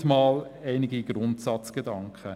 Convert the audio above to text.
Soweit mal einige Grundsatzgedanken.